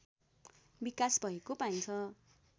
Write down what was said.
विकास भएको पाइन्छ